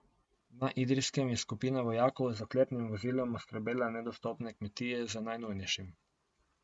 Na Idrijskem je skupina vojakov z oklepnim vozilom oskrbela nedostopne kmetije z najnujnejšim.